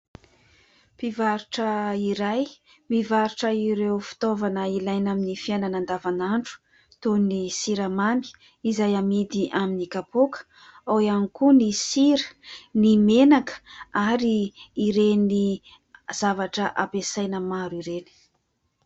Mpivarotra iray mivarotra ireo fitaovana ilaina amin'ny fiainana andavan'andro toy ny siramamy izay amidy amin'ny kapoka, ao ihany koa ny sira, ny menaka ary ireny zavatra ampiasaina maro ireny.